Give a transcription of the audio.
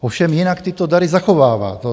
Ovšem jinak tyto dary zachovává.